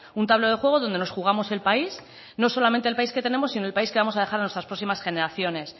un tablero de juego donde nos jugamos el país no solamente el país que tenemos sino el país que vamos a dejar a nuestras próximas generaciones